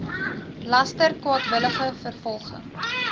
laster kwaadwillige vervolging